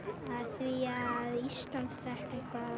því Ísland fékk